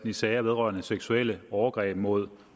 i sager vedrørende seksuelle overgreb mod